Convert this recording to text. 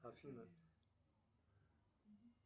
афина